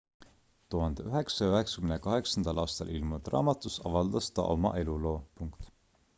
1998 aastal ilmunud raamatus avaldas ta oma eluloo